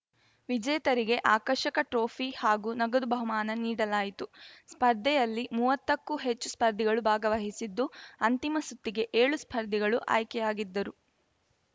ವಿಜೇತರಿಗೆ ಆಕರ್ಷಕ ಟ್ರೋಫಿ ಹಾಗೂ ನಗದು ಬಹುಮಾನ ನೀಡಲಾಯಿತು ಸ್ಪರ್ಧೆಯಲ್ಲಿ ಮೂವತ್ತಕ್ಕೂ ಹೆಚ್ಚು ಸ್ಪರ್ಧಿಗಳು ಭಾಗವಹಿಸಿದ್ದು ಅಂತಿಮ ಸುತ್ತಿಗೆ ಏಳು ಸ್ಪರ್ಧಿಗಳು ಆಯ್ಕೆಯಾಗಿದ್ದರು